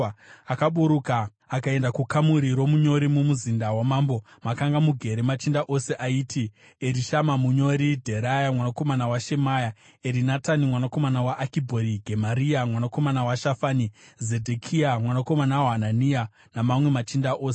akaburuka akaenda kukamuri romunyori mumuzinda wamambo, makanga mugere machinda ose, aiti: Erishama munyori, Dheraya mwanakomana waShemaya, Erinatani mwanakomana waAkibhori, Gemaria mwanakomana waShafani, Zedhekia mwanakomana waHanania, nemamwe machinda ose.